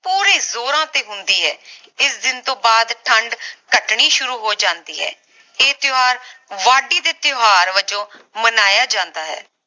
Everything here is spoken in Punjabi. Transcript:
ਪੂਰੇ ਜੋਰਾਂ ਤੇ ਹੁੰਦੀ ਹੈ ਇਸ ਦਿਨ ਤੋਂ ਬਾਅਦ ਠੰਡ ਘਟਣੀ ਸ਼ੁਰੂ ਹੋ ਜਾਂਦੀ ਹੈ ਇਹ ਤਿਓਹਾਰ ਵਾਢੀ ਦੇ ਤਿਓਹਾਰ ਵਜੋਂ ਮਨਾਇਆ ਜਾਂਦਾ ਹੈ